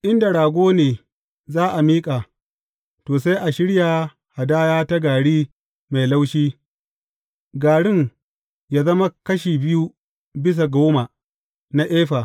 In da rago ne za a miƙa, to, sai a shirya hadaya ta gari mai laushi, garin yă zama kashi biyu bisa goma na efa.